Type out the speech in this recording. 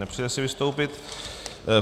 Nepřeje si vystoupit.